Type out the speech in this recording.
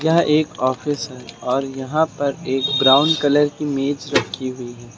यह एक ऑफिस है और यहां पर एक ब्राउन कलर की मेज रखी हुई है।